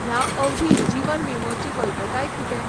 ह्या अवधी जीवन विमो ची वैधताय कितें?